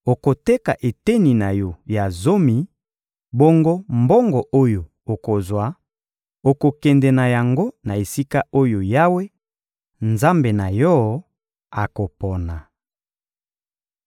okoteka eteni na yo ya zomi; bongo mbongo oyo okozwa, okokende na yango na esika oyo Yawe, Nzambe na yo, akopona.